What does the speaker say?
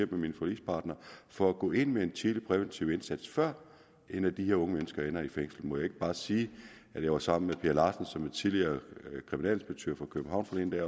med mine forligspartnere for at gå ind med en tidlig præventiv indsats før et af de her unge mennesker ender i fængsel må jeg ikke bare sige at jeg var sammen med per larsen som er tidligere kriminalinspektør for københavn